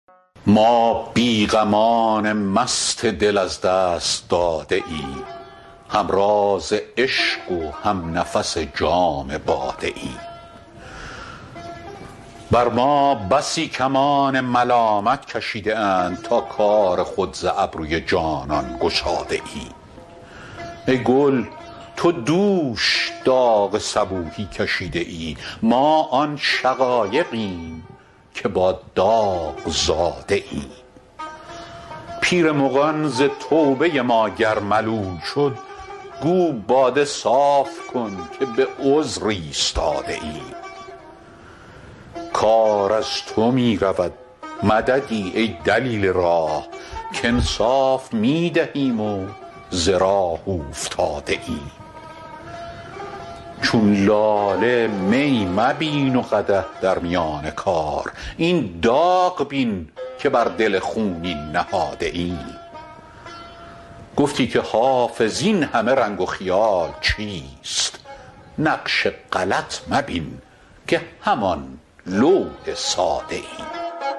ما بی غمان مست دل از دست داده ایم هم راز عشق و هم نفس جام باده ایم بر ما بسی کمان ملامت کشیده اند تا کار خود ز ابروی جانان گشاده ایم ای گل تو دوش داغ صبوحی کشیده ای ما آن شقایقیم که با داغ زاده ایم پیر مغان ز توبه ما گر ملول شد گو باده صاف کن که به عذر ایستاده ایم کار از تو می رود مددی ای دلیل راه کانصاف می دهیم و ز راه اوفتاده ایم چون لاله می مبین و قدح در میان کار این داغ بین که بر دل خونین نهاده ایم گفتی که حافظ این همه رنگ و خیال چیست نقش غلط مبین که همان لوح ساده ایم